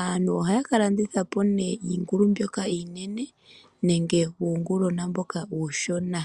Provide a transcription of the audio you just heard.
Aantu ohaya ka landitha po nee iingulu mbyoka iinene, nenge uungulwena uushona.